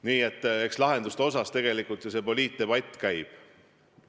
Nii et eks lahenduste üle ju see poliitdebatt käibki.